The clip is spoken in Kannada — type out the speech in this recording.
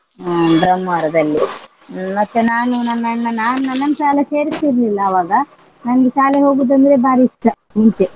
ಅಹ್ ಬ್ರಹ್ಮಾವರದಲ್ಲಿ ಹ್ಮ್ ಮತ್ತೆ ನಾನು ನನ್ನ ಅಣ್ಣ ನಾನ್ ನನ್ನನ್ ಶಾಲೆ ಸೇರಿಸಿರ್ಲಿಲ್ಲ ಆವಾಗ ನಂಗೆ ಶಾಲೆ ಹೋಗುದಂದ್ರೆ ಬಾರಿ ಇಷ್ಟ ಮುಂಚೆ.